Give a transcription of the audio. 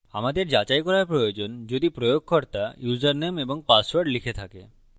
আমাদের যাচাই করা প্রয়োজন যদি প্রয়োগকর্তা ইউসারনেম এবং পাসওয়ার্ড লিখে থাকে